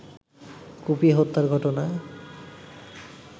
কুপিয়ে হত্যার ঘটনায়